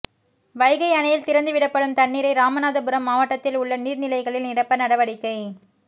வைகை அணையில் திறந்து விடப்படும் தண்ணீரை ராமநாதபுரம் மாவட்டத்தில் உள்ள நீர்நிலைகளில் நிரப்ப நடவடிக்கை